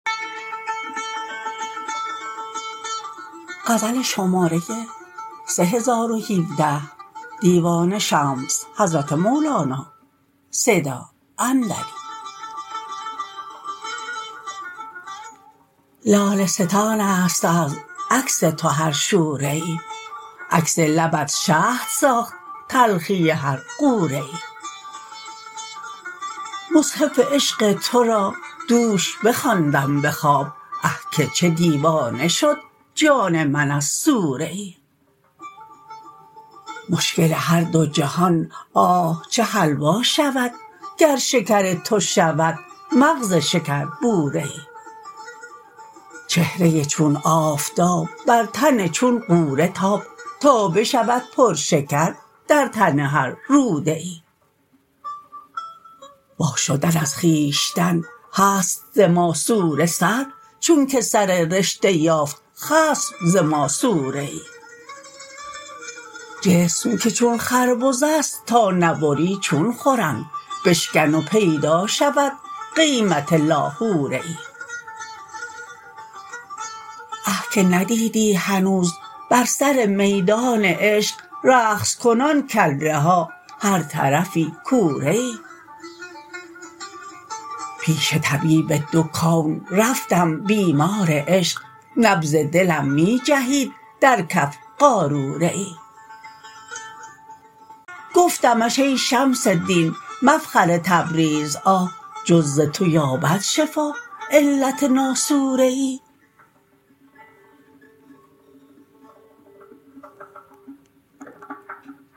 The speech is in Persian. لاله ستانست از عکس تو هر شوره ای عکس لبت شهد ساخت تلخی هر غوره ای مصحف عشق تو را دوش بخواندم به خواب آه که چه دیوانه شد جان من از سوره ای مشکل هر دو جهان آه چه حلوا شود گر شکر تو شود مغز شکربوره ای چهره چون آفتاب بر تن چون غوره تاب تا بشود پرشکر در تن هر روده ای وا شدن از خویشتن هست ز ماسوره سهل چونک سر رشته یافت خصم ز ماسوره ای جسم که چون خربزه ست تا نبری چون خورند بشکن و پیدا شود قیمت لاهوره ای آه که ندیدی هنوز بر سر میدان عشق رقص کنان کله ها هر طرفی کوره ای پیش طبیب دو کون رفتم بیمار عشق نبض دلم می جهید در کف قاروره ای گفتمش ای شمس دین مفخر تبریز آه جز ز تو یابد شفا علت ناسوره ای